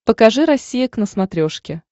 покажи россия к на смотрешке